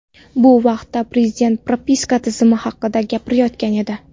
Bu vaqtda Prezident propiska tizimi haqida gapirayotgan edi.